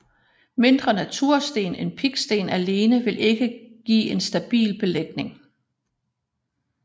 Mindre natursten end piksten alene vil ikke give en stabil belægning